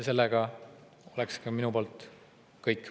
See on minu poolt kõik.